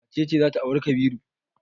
Wace ce za ta auri Kabiru?